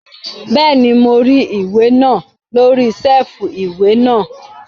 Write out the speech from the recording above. Bẹ́ẹ̀ni, mo rí ìwé náà lórí sẹ́ẹ̀fù ìwé náà